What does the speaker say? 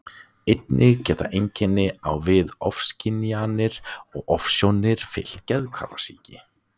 Einnig geta einkenni á við ofskynjanir og ofsjónir fylgt geðhvarfasýki.